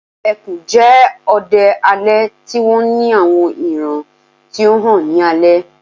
ẹkùn jẹ odẹ alẹ ti wọn ni awọn iran ti o han ni alẹ